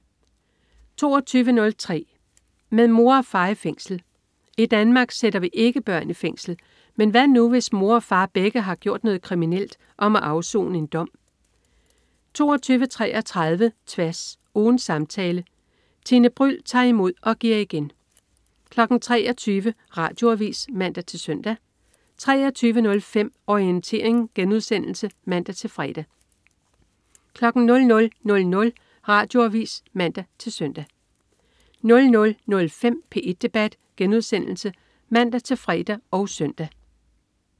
22.03 Med mor og far i fængsel. I Danmark sætter vi ikke børn i fængsel. Men hvad nu hvis mor og far begge har gjort noget kriminelt og må afsone en dom? 22.33 Tværs. Ugens samtale. Tine Bryld tager imod og giver igen 23.00 Radioavis (man-søn) 23.05 Orientering* (man-fre) 00.00 Radioavis (man-søn) 00.05 P1 debat* (man-fre og søn)